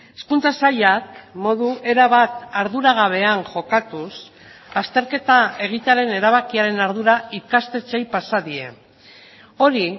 hezkuntza sailak modu erabat arduragabean jokatuz azterketa egitearen erabakiaren ardura ikastetxeei pasa die hori